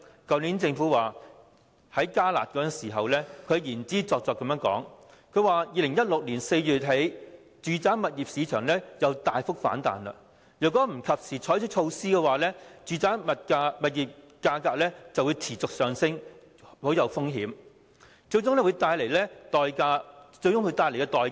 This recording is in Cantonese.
去年政府提出"加辣"措施時，言之鑿鑿地表示，住宅物業市場自2016年4月起再次大幅反彈，若不及時採取措施的話，樓價便會有持續上升的風險，最終帶來非常沉重的代價。